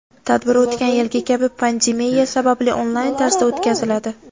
Tadbir o‘tgan yilgi kabi pandemiya sababli onlayn tarzda o‘tkaziladi.